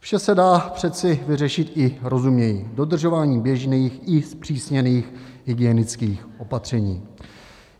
Vše se dá přece vyřešit i rozumněji - dodržováním běžných i zpřísněných hygienických opatření.